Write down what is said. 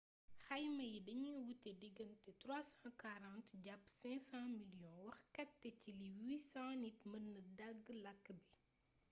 xayma yi dañuy wuute digante 340 jàpp 500 miliyoŋi waxkat te ci li 800 nit mëna dégg làkk bi